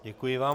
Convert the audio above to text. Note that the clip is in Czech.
Děkuji vám.